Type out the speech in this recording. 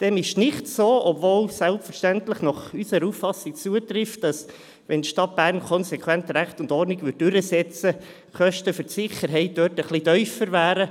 Dem ist nicht so, obwohl es selbstverständlich nach unserer Auffassung zutrifft, dass wenn die Stadt Bern Recht und Ordnung konsequent durchsetzen würde, die Kosten für die Sicherheit ein wenig tiefer wären.